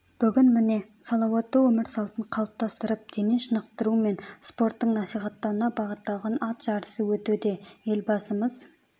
бүгін міне салауатты өмір салтын қалыптастырып дене шынықтыру мен спорттың насихаттауына бағытталған ат жарысы өтуде елбасымыз